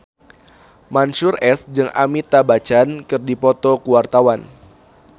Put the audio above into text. Mansyur S jeung Amitabh Bachchan keur dipoto ku wartawan